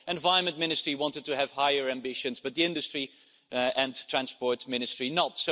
The Environment Ministry wanted to have higher ambitions, but the Industry and Transport Ministry did not.